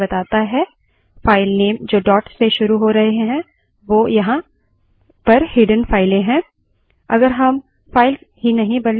ये सभी फाइलों के साथसाथ छुपी हुई यानि hidden files भी बताता है files नेम जो dot से शुरू हो रहे हैं वो यहाँ पर hidden files हैं